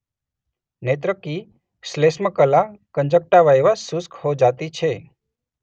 નેત્ર કી શ્લેષ્મકલા કંજંક્ટાઇવા શુષ્ક હો જાતી છે.